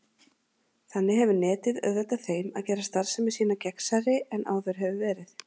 Þannig hefur Netið auðveldað þeim að gera starfsemi sína gegnsærri en áður hefur verið.